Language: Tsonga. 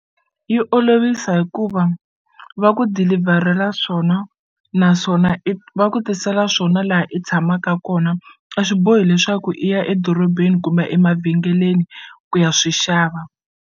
Yi olovisa hikuva va ku dilivharela swona naswona i va ku tisela swona laha i tshamaka kona a swi bohi leswaku i ya edorobeni kumbe emavhengeleni ku ya swi xava.